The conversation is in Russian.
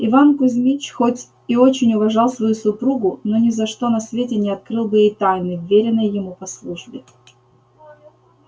иван кузмич хоть и очень уважал свою супругу но ни за что на свете не открыл бы ей тайны вверенной ему по службе